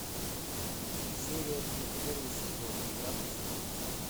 серия три первый сезон игра престолов